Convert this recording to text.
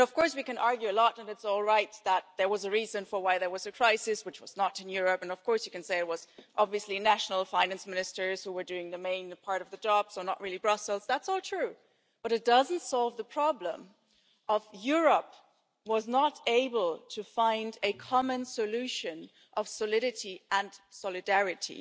We can argue that it's all right because there was a reason why there was a crisis and it was not in Europe, and you can say it was obviously national finance ministers who were doing the main part of the job, so not really Brussels that's all true, but it doesn't solve the problem that Europe was not able to find a common solution of solidity and solidarity.